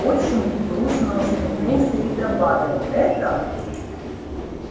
отчим грустно усмехнулся и добавил это